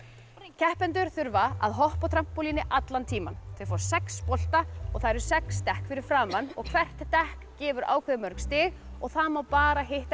keppendur þurfa að hoppa á trampólíni allan tímann þeir fá sex bolta og það eru sex dekk fyrir framan og hvert dekk gefur ákveðið mörg stig og það má bara hitta